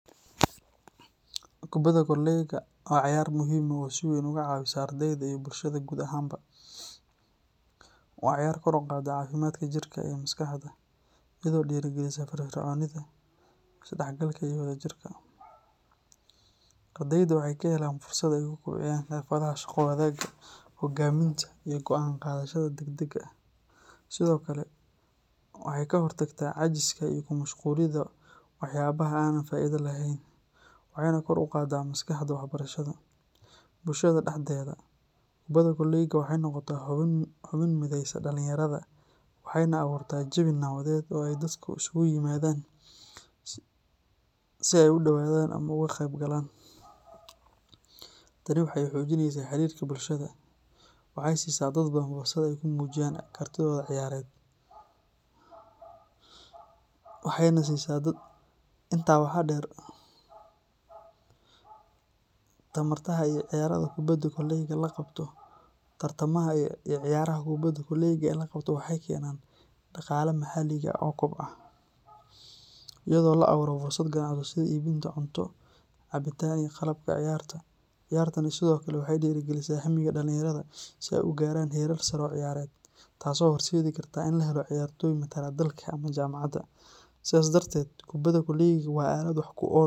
Kubadda kolayga waa cayaar muhiim ah oo si weyn uga caawisa ardeyda iyo bulshada guud ahaanba. Waa ciyaar kor u qaadda caafimaadka jirka iyo maskaxda, iyadoo dhiirrigelisa firfircoonida, isdhexgalka, iyo wadajirka. Ardeyda waxay ka helaan fursad ay ku kobciyaan xirfadaha shaqo wadaagga, hoggaaminta, iyo go’aan qaadashada degdega ah. Sidoo kale waxay ka hortagtaa caajiska iyo ku mashquulidda waxyaabaha aan faa’iidada lahayn, waxayna kor u qaaddaa maskaxda waxbarashada. Bulshada dhexdeeda, kubadda kolayga waxay noqotaa xubin mideysa dhalinyarada, waxayna abuurtaa jawi nabadeed oo ay dadku isugu yimaadaan si ay u daawadaan ama uga qeybgalaan. Tani waxay xoojinaysaa xiriirka bulshada, waxayna siisaa dad badan fursad ay ku muujiyaan kartidooda ciyaareed. Intaa waxaa dheer, tartamada iyo ciyaaraha kubadda kolayga ee la qabto waxay keenaan dhaqaalaha maxalliga ah oo kobca, iyadoo la abuuro fursado ganacsi sida iibinta cunto, cabitaan, iyo qalabka ciyaarta. Ciyaartani sidoo kale waxay dhiirrigelisaa hammiga dhalinyarada si ay u gaaraan heerar sare oo ciyaareed, taasoo horseedi karta in la helo ciyaartoy matala dalka ama jaamacadaha. Sidaas darteed, kubadda kolayga waa aalad wax ku ool.